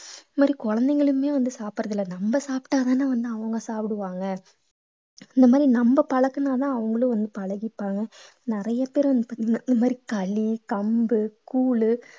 இந்த மாதிரி குழந்தைங்களுமே வந்து சாப்பிடுறது இல்லை நம்ம சாப்பிட்டாதானே வந்து அவங்க சாப்பிடுவாங்க இந்த மாதிரி நம்ம பழக்கினாதான் அவங்களும் வந்து பழகிப்பாங்க நிறைய பேர் வந்து பாத்தீங்கன்னா இந்த மாதிரி களி கம்பு கூழு